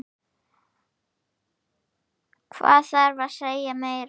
Hvað þarf að segja meira?